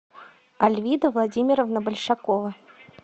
альвида владимировна большакова